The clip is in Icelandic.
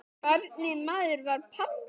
Hvernig maður var pabbi?